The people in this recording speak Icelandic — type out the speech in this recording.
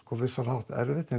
vissan hátt erfitt en